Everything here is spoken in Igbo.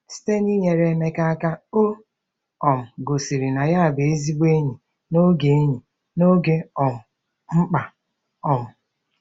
Site n'inyere Emeka aka, o um gosiri na ya bụ ezigbo enyi n'oge enyi n'oge um mkpa. um